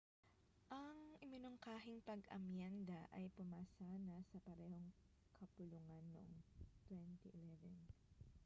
ang iminungkahing pag-amyenda ay pumasa na sa parehong kapulungan noong 2011